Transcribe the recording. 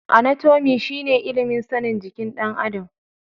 Anatomi shi ne ilimin sanin jikin ɗan adam.